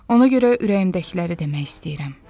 Ona görə ürəyimdəkiləri demək istəyirəm.